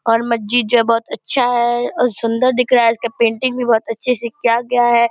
और मस्जिद जो बहुत अच्छा है और सुन्दर दिख रहा है इसका पेंटिंग भी बहुत अच्छे से किया गया है।